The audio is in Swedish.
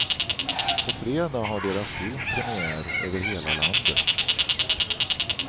På fredag har deras film premiär över hela landet.